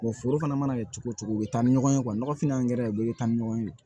foro fana mana kɛ cogo o cogo u be taa ni ɲɔgɔn ye nɔgɔfin angɛrɛ u bɛ taa ni ɲɔgɔn ye